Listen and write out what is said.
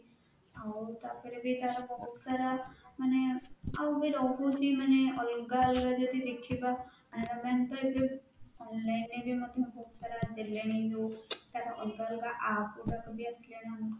ଆଉ ତାପରେ ବି ଏଇଟା ବହୁତ ସାରା ମାନେ ଆଉ ବି ରହୁଛି ମାନେ ଅଲଗା ଅଲଗା ଯଦି ଦେଖିବା canara bank ରେ ବି ନେଲେ ବି online ରେ ମଧ୍ୟ ବହୁତ ସାରା ଦେଲେଣି ଯୋଉ ଅଲଗା ଅଲଗା APP ଗୁଡାକ ବି ଅଛି